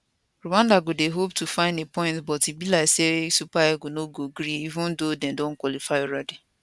rwanda go dey hope to find a point but be like say super eagles no go gree even though dem don qualify alreadi